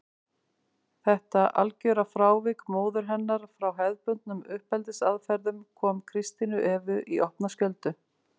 Þetta algjöra frávik móður hennar frá hefðbundnum uppeldisaðferðum kom Kristínu Evu í opna skjöldu.